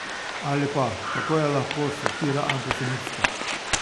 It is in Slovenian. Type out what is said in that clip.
Ali pa: "Kako je lahko satira antisemitska?